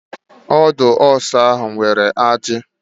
Ọdụ ọsá ahụ nwere ajị.